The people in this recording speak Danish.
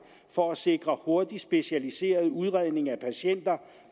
for at sikre hurtig specialiseret udredning af patienter